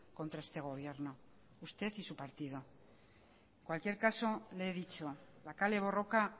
contra este gobierno usted y su partido en cualquier caso le he dicho la kale borroka